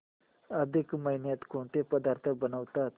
अधिक महिन्यात कोणते पदार्थ बनवतात